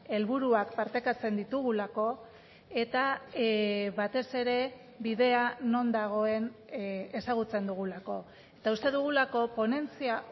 helburuak partekatzen ditugulako eta batez ere bidea non dagoen ezagutzen dugulako eta uste dugulako ponentzia